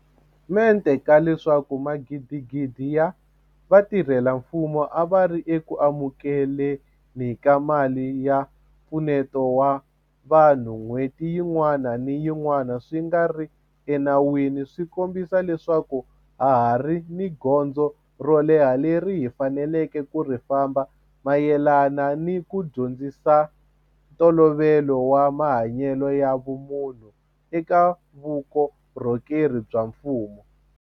mente ka leswaku magidigidi ya vatirhela mfumo a va ri eku amukele ni ka mali ya mpfuneto wa vanhu n'hweti yin'wana ni yin'wana swi nga ri ena wini swi kombisa leswaku ha ha ri ni gondzo ro leha leri hi faneleke ku ri famba mayelana ni ku dyondzisa ntolovelo wa mahanyelo ya vumunhu eka vuko rhokeri bya mfumo.